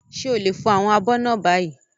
Ṣé o lè fọ àwọn abọ́ náà báyìí?